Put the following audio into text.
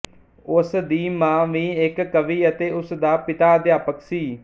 ਉਸ ਦੀ ਮਾਂ ਵੀ ਇੱਕ ਕਵੀ ਅਤੇ ਉਸ ਦਾ ਪਿਤਾ ਅਧਿਆਪਕ ਸੀ